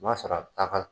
O b'a sɔrɔ a bɛ taa ka